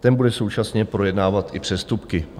Ten bude současně projednávat i přestupky.